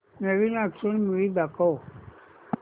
नवीन action movie दाखव